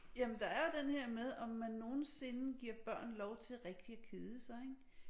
Jamen der er jo den her med om man nogensinde giver børn lov til rigtig at kede sig ik